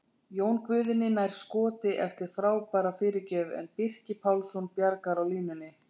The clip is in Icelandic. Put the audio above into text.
Jón Guðni nær skoti eftir frábæra fyrirgjöf en Birkir Pálsson bjargar á línunni!